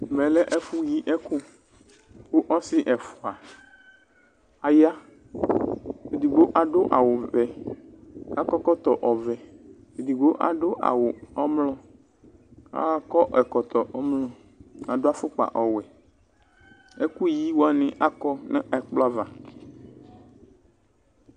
Ɛmɛ lɛ ɛfʋ yi ɛkʋKʋ ɔsɩ ɛfʋa aya:edigbo adʋ awʋ vɛ akɔ ɛkɔtɔ vɛ, edigbo adʋ awʋ ɔmlɔ akɔ ɛkɔtɔ ɔmlɔ, adʋ afʋkpa ɔwɛ ,ɛkʋ yi wanɩ adʋ ɛkplɔ ava